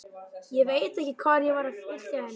Ég veit ekki hvað ég var að vilja henni.